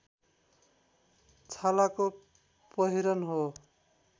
छालाको पहिरन हो